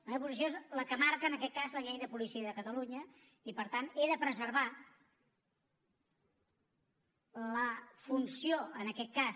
la meva posició és la que marca en aquest cas la llei de policia de catalunya i per tant he de preservar la funció en aquest cas